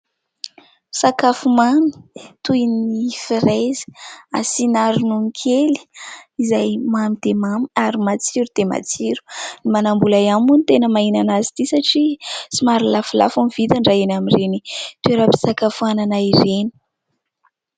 Sakafo mamy toy ny frezy, asina ronono kely izay mamy dia mamy ary matsiro dia matsiro. Ny manam-bola ihany moa no tena mahahinana azy ity satria somary lafolafo ny vidiny raha eny amin'ireny toeram-pisakafoanana ireny